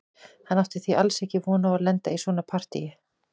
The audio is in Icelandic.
Hann átti því alls ekki von á að lenda í svona partíi.